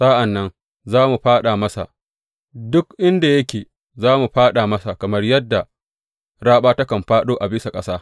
Sa’an nan za mu fāɗa masa duk inda yake, za mu fāɗa masa kamar yadda raɓa takan fāɗo a bisa ƙasa.